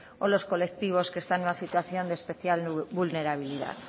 o los colectivos que están en una situación de especial vulnerabilidad